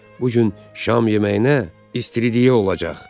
Bu gün şam yeməyinə istiridiya olacaq.